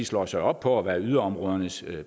slår sig op på at være yderområdernes